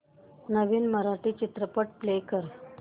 नवीन मराठी चित्रपट प्ले कर